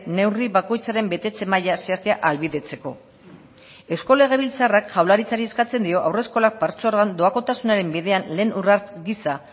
neurri bakoitzaren betetze maila zehaztea ahalbidetzeko eusko legebiltzarrak jaurlaritzari eskatzen dio haurreskolak patzuergoak doakotasunaren bidean lehen urrats gisa